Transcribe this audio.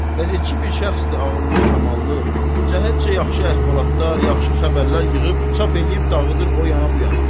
Qəzetçi bir şəxsdir ağıllı, kamallı, cəhətcə yaxşı əhvalatlar, yaxşı xəbərlər yığıb çap eləyib dağıdır o yana bu yana.